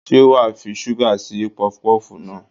Ṣé wàá fi ṣúgà sí pọfupọ́fù náà?